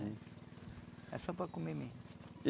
Era só para comer mesmo.